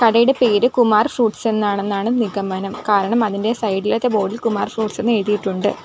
കടയുടെ പേര് കുമാർ ഫ്രൂട്ട്സ് എന്നാണെന്നാണ് നിഗമനം കാരണം അതിൻ്റെ സൈഡ് ഇലത്തെ ബോർഡ് ഇൽ കുമാർ ഫ്രൂട്ട്സ് എന്ന് എഴുതിയിട്ടുണ്ട്.